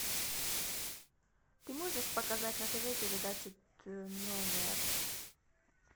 ты можешь показать на тв передачу т номер